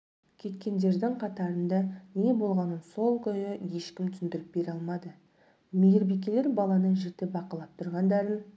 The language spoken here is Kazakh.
кеткендердің қатарында не болғанын сол күйі ешкім түсіндіріп бере алмады мейірбикелер баланы жіті бақылап тұрғандарын